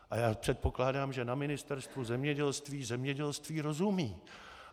A já předpokládám, že na Ministerstvu zemědělství zemědělství rozumí.